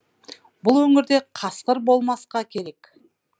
бұл өңірде қасқыр болмасқа керек